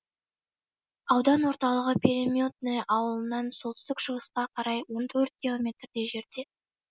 аудан орталығы переметное ауылынан солтүстік шығысқа қарай он төрт километрдей жерде